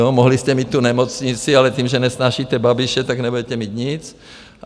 Jo, mohli jste mít tu nemocnici, ale tím, že nesnášíte Babiše, tak nebudete mít nic.